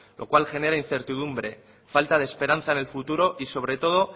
lo cual genera incertidumbre falta de esperanza en el futuro y sobre todo